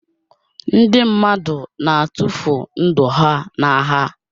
Ndị mmadụ na-atụfu ndụ ha n'agha